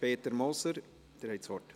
Peter Moser, Sie haben das Wort.